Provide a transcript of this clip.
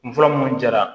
N fura minnu jara